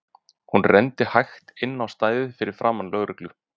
Hún renndi hægt inn á stæðið fyrir framan lögreglu